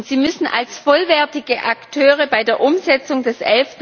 Sie müssen als vollwertige Akteure bei der Umsetzung des